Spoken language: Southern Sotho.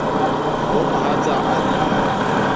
ha mohatsaka a ne a